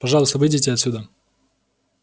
пожалуйста выйдите отсюда